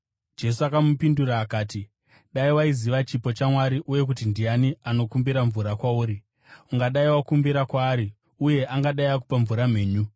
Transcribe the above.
Jesu akamupindura akati, “Dai waiziva chipo chaMwari uye kuti ndiani anokumbira mvura kwauri, ungadai wakumbira kwaari uye angadai akupa mvura mhenyu.”